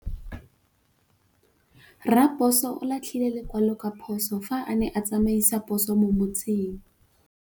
Raposo o latlhie lekwalô ka phosô fa a ne a tsamaisa poso mo motseng.